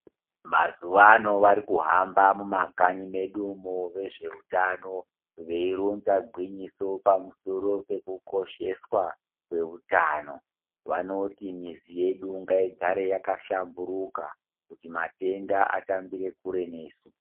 Mazuwa ano varikuhamba mumakanyi mwedumo vezveutano veironza gwinyiso pamusoro pekukosheswa kweutano, vanoti mizi yedu ngaigare yakhlamburuka kuti matenda atambire kure nesu.